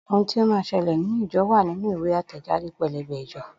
Ohun tí ó máa ṣẹlẹ̀ nínú ìjọ wá nínú ìwé àtẹ̀jáde pẹ́lẹ́bẹ́ ìjọ